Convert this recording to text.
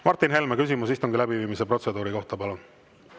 Martin Helme, küsimus istungi läbiviimise protseduuri kohta, palun!